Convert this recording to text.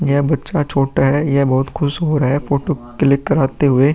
यह बच्चा छोटा है। यह बहोत खुश हो रहा है फोटो क्लिक कराते हुये ।